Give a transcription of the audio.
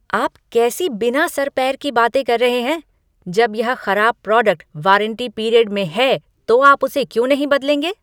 आप कैसी बिना सर पैर की बात कर रहे हैं? जब यह खराब प्रोडक्ट वारंटी पीरियड में है तो आप उसे क्यों नहीं बदलेंगे?